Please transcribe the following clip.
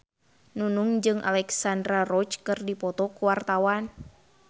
Nunung jeung Alexandra Roach keur dipoto ku wartawan